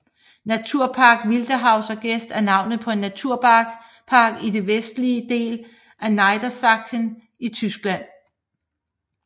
Naturpark Wildeshauser Geest er navnet på en Naturpark i den vestlige del af Niedersachsen i Tyskland